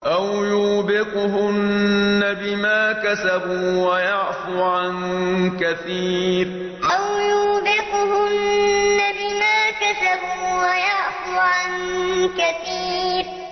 أَوْ يُوبِقْهُنَّ بِمَا كَسَبُوا وَيَعْفُ عَن كَثِيرٍ أَوْ يُوبِقْهُنَّ بِمَا كَسَبُوا وَيَعْفُ عَن كَثِيرٍ